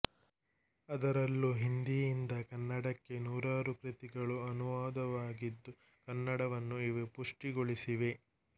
ಅದರಲ್ಲೂ ಹಿಂದೀಯಿಂದ ಕನ್ನಡಕ್ಕೆ ನೂರಾರು ಕೃತಿಗಳು ಅನುವಾದವಾಗಿದ್ದು ಕನ್ನಡವನ್ನು ಇವು ಪುಷ್ಟಿಗೊಳಿಸಿವೆ